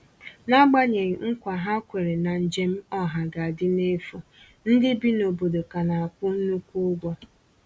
N'agbanyeghị nkwa ha kwèrè na njem ọha ga-adị n’efu, ndị bi n’obodo ka na-akwụ nnukwu ụgwọ